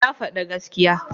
Ya faɗi gaskiya